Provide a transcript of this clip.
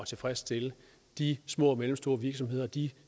at tilfredsstille de små og mellemstore virksomheder de